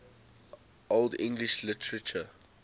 old english literature